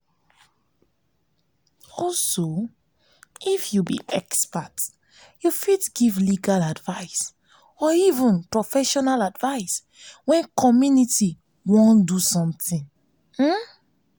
if you be expert you fit give legal advise or even professional advice when community wan do something